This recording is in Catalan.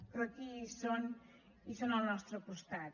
però aquí hi són i són al nostre costat